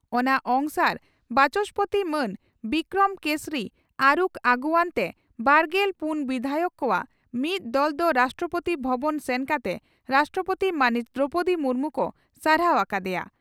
ᱚᱱᱟ ᱚᱝᱥᱟᱨ ᱵᱟᱪᱚᱥᱯᱳᱛᱤ ᱢᱟᱱ ᱵᱤᱠᱨᱚᱢ ᱠᱮᱥᱚᱨᱤ ᱟᱨᱩᱠᱷ ᱟᱜᱩᱣᱟᱹᱱ ᱛᱮ ᱵᱟᱨᱜᱮᱞ ᱯᱩᱱ ᱵᱤᱫᱷᱟᱭᱚᱠ ᱠᱚᱣᱟᱜ ᱢᱤᱫ ᱫᱚᱞ ᱫᱚ ᱨᱟᱥᱴᱨᱚᱯᱳᱛᱤ ᱵᱷᱚᱵᱚᱱ ᱥᱮᱱ ᱠᱟᱛᱮ ᱨᱟᱥᱴᱨᱚᱯᱳᱛᱤ ᱢᱟᱹᱱᱤᱡ ᱫᱨᱚᱣᱯᱚᱫᱤ ᱢᱩᱨᱢᱩ ᱠᱚ ᱥᱟᱨᱦᱟᱣ ᱟᱠᱟ ᱫᱮᱭᱟ ᱾